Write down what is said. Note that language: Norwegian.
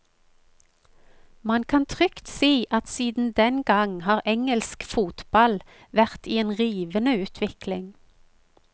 Man kan trygt si at siden den gang har engelsk fotball vært i en rivende utvikling.